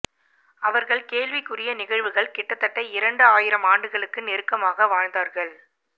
அவர்கள் கேள்விக்குரிய நிகழ்வுகள் கிட்டத்தட்ட இரண்டு ஆயிரம் ஆண்டுகளுக்கு நெருக்கமாக வாழ்ந்தார்கள்